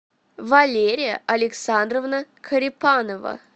валерия александровна карипанова